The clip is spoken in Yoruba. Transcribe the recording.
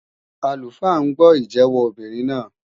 Àlùfáà ń gbọ́ ìjẹ́wọ́ obìnrin náà.